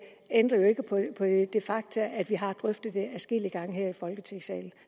ændrer jo ikke på det faktum at vi har drøftet det adskillige gange her i folketingssalen